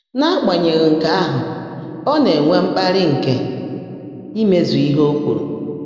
N’ágbányèghị́ nkè áhụ́, ọ́ ná-ènwé mkpàlị́ nkè ímezú íhe ó kwùrú.